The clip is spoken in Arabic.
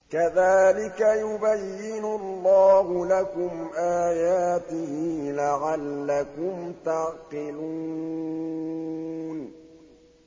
كَذَٰلِكَ يُبَيِّنُ اللَّهُ لَكُمْ آيَاتِهِ لَعَلَّكُمْ تَعْقِلُونَ